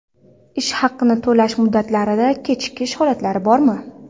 Ish haqini to‘lash muddatlarida kechikish holatlari bormi?